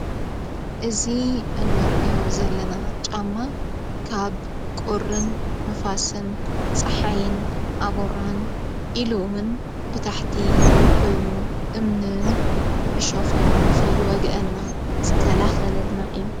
እዙ እንርእዮ ዘለና ፃማ ካብ ቁርን ን፣ ፋስን ፀሓይን ፣ኣበራን ኢሉዉን ብታሕቲ ኮይኑ እምንን ዕሾኽን ንኸይ ወግአና ዝከላኸለልና እዩ።